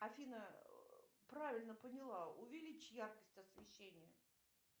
афина правильно поняла увеличь яркость освещения